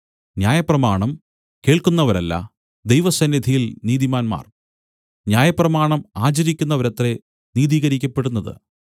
ന്യായപ്രമാണം കേൾക്കുന്നവരല്ല ദൈവസന്നിധിയിൽ നീതിമാന്മാർ ന്യായപ്രമാണം ആചരിക്കുന്നവരത്രേ നീതികരിക്കപ്പെടുന്നത്